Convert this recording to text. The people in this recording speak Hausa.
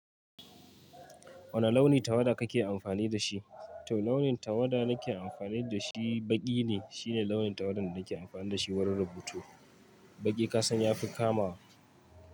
Wane launin tawada kake amfani da shi? To launin tawada nake amfani da shi, baƙi ne. Shine launin tawada da nake amfani da shi wurin rubutu. Baƙi kasan ya fi kamawa.